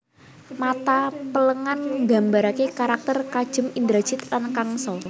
Mata Pelengan Nggambaraké karakter kejem Indrajid lan Kangsa